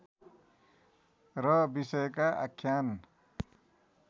र विषयका आख्यान